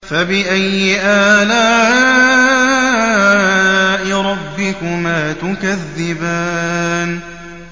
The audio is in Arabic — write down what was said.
فَبِأَيِّ آلَاءِ رَبِّكُمَا تُكَذِّبَانِ